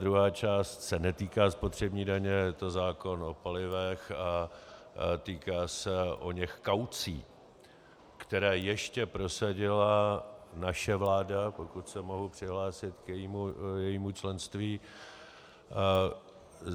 Druhá část se netýká spotřební daně a je to zákon o palivech a týká se oněch kaucí, které ještě prosadila naše vláda, pokud se mohu přihlásit k jejímu členství.